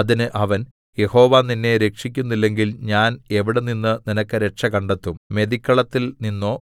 അതിന് അവൻ യഹോവ നിന്നെ രക്ഷിക്കുന്നില്ലെങ്കിൽ ഞാൻ എവിടെനിന്ന് നിനക്ക് രക്ഷ കണ്ടെത്തും മെതിക്കളത്തിൽ നിന്നോ